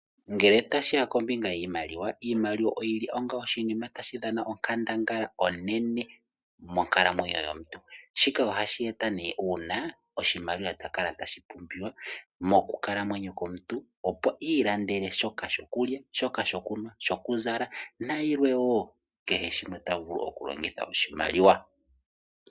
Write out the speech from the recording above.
Ngele tashi ya kombinga yiimaliwa, iimaliwa oyi li onga oshinima tashi dhana onkandangala onene monkalamwenyo yomuntu. Shika ohashi eta nduno uuna oshimaliwa ta kala tashi pumbiwa mokukalamwenyo komuntu, opo i ilandele sha shokulya, shokunwa, shokuzala nayilwe wo mbyoka ta vulu okulongitha oshimaliwa.